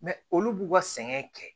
olu b'u ka sɛgɛn kɛ